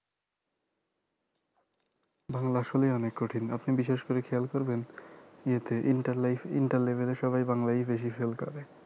বাংলা আসলেই অনেক কঠিন আপনি বিশেষ করে খেয়াল করবেন ইয়ে তে inter life এ inter level এ সবাই বাংলাই বেশি fail করে